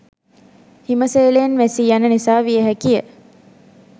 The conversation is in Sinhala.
හිම සේලයෙන් වැසී යන නිසා විය හැකිය